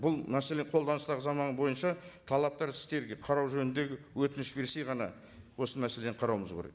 бұл мәселе қолданыстағы заңнама бойынша талаптар іске қарау жөніндегі өтініш берсе ғана осы мәселені қарауымыз керек